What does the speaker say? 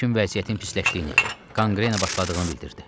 Həkim vəziyyətin pisləşdiyini, qanqrena başladığını bildirdi.